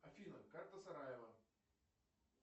афина карта сараево